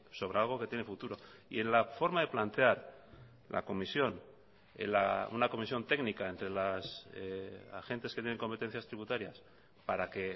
sobre algo que tiene futuro y en la forma de plantear la comisión una comisión técnica entre las agentes que tienen competencias tributarias para que